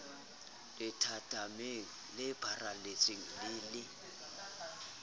lethathameng le pharaletseng le le